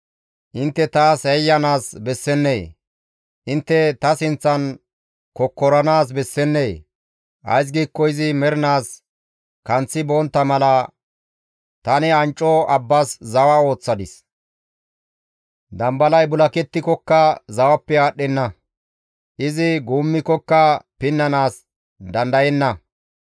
Intte taas yayyanaas bessennee? Intte ta sinththan kokkoranaas bessennee? Ays giikko izi mernaas kanththi bontta mala, tani ancco abbas zawa ooththadis. Dambalay bulakettikokka zawappe aadhdhenna; Izi guummikkoka pinnanaas dandayenna.